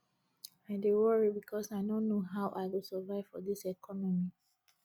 i dey worry because i no know how i go survive for dis economy